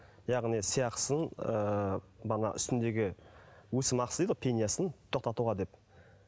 яғни сый ақысын ыыы ана үстіндегі өсім ақысы дейді ғой пенясын тоқтатуға деп